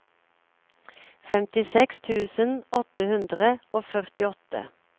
femtiseks tusen åtte hundre og førtiåtte